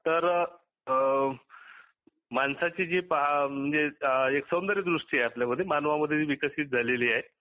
तर अ मानसाची जी म्हणजे एक सौंदर्यदृष्टी आपल्या मध्ये मानवामध्ये विकसीत झालेली आहे.